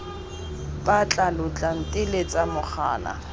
mpatla lo tla nteletsa mogala